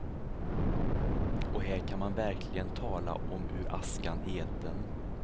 Och här kan man verkligen tala om ur askan i elden.